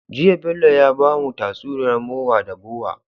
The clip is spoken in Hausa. Jiya Bello ya bamu tatsuniyar mowa da bowa